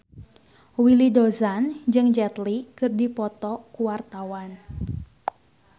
Willy Dozan jeung Jet Li keur dipoto ku wartawan